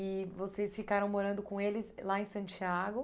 E vocês ficaram morando com eles lá em Santiago?